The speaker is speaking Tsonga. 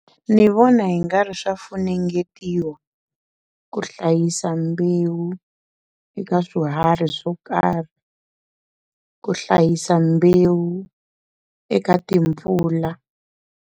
Ni vona hi nga ri swa funengetiwa ku hlayisa mbewu eka swiharhi swo karhi ku hlayisa mbewu eka timpfula.